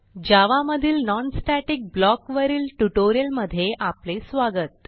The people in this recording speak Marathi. जावा मधील non स्टॅटिक ब्लॉक वरील ट्युटोरियलमधे स्वागत